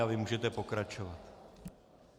A vy můžete pokračovat.